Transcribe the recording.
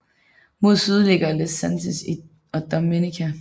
Mod syd ligger Les Saintes og Dominica